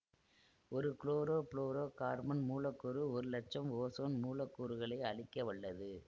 ஒரு chlorofluorocarbon மூலக்கூறு ஒரு லட்சம் ஓசோன் மூலக்கூறுகளை அழிக்க வல்லது